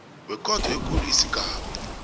wekhotho ekulu isigaba